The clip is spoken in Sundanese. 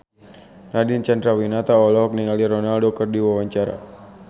Nadine Chandrawinata olohok ningali Ronaldo keur diwawancara